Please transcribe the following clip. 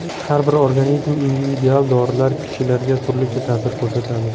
Har bir organizm individual, dorilar kishilarga turlicha ta’sir ko‘rsatadi.